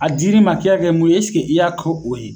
A dir'i ma k'i ka kɛ mun ye ɛseke i y'a ko o ye?